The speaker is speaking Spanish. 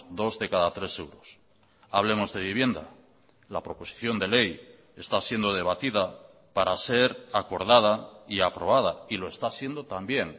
dos de cada tres euros hablemos de vivienda la proposición de ley está siendo debatida para ser acordada y aprobada y lo está siendo también